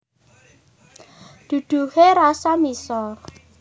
Duduhe rasa miso